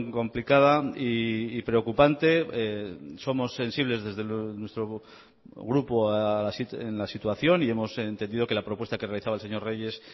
complicada y preocupante somos sensibles desde nuestro grupo en la situación y hemos entendido que la propuesta que realizaba el señor reyes